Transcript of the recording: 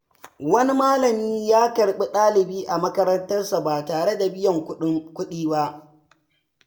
Wani malami ya karɓi ɗalibi a makarantarsa ba tare da biyan kuɗi ba.